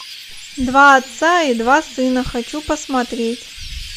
два отца и два сына хочу посмотреть